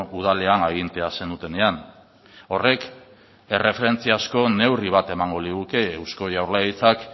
udalean agintea zenutenean horrek erreferentzia asko neurri bat emango liguke eusko jaurlaritzak